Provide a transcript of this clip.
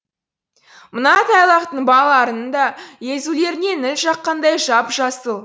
мына тайлақтың балаларының да езулеріне ніл жаққандай жап жасыл